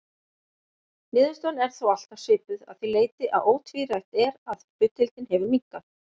Niðurstaðan er þó alltaf svipuð að því leyti að ótvírætt er að hlutdeildin hefur minnkað.